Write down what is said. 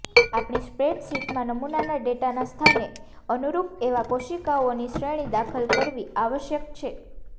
આપણી સ્પ્રેડશીટમાં નમૂનાના ડેટાના સ્થાનને અનુરૂપ એવા કોશિકાઓની શ્રેણી દાખલ કરવી આવશ્યક છે